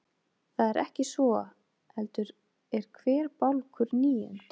Það er ekki svo, heldur er hver bálkur níund.